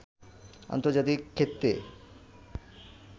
আন্তর্জাতিক ক্ষেত্রে